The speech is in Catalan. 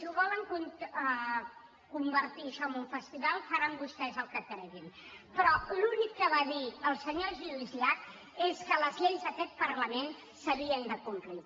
len convertir això en un festival facin vostès el que creguin però l’únic que va dir el senyor lluís llach és que les lleis d’aquest parlament s’havien de complir